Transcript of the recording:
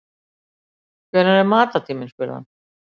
Hvenær er matartíminn spurði hann.